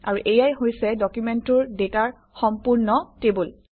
আৰু এয়াই হৈছে ডকুমেণ্টটোৰ ডাটাৰ সম্পূৰ্ণ টেবুল